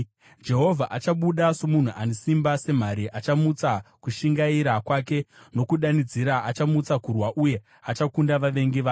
Jehovha achabuda somunhu ane simba, semhare, achamutsa kushingaira kwake; nokudanidzira, achamutsa kurwa uye achakunda vavengi vake.